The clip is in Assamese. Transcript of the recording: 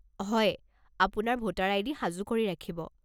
হয়। আপোনাৰ ভোটাৰ আইডি সাজু কৰি ৰাখিব।